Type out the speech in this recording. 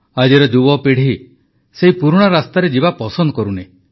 ଆଜିର ଯୁବପିଢ଼ି ସେହି ପୁରୁଣା ରାସ୍ତାରେ ଯିବା ପସନ୍ଦ କରୁନି